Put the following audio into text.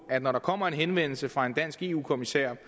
at når der kommer en henvendelse fra en dansk eu kommissær